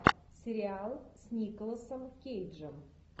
сериал с николасом кейджем